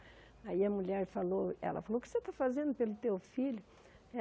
Aí a mulher falou, ela falou, o que você está fazendo pelo teu filho?